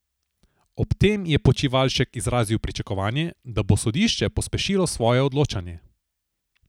Ob tem je Počivalšek izrazil pričakovanje, da bo sodišče pospešilo svoje odločanje.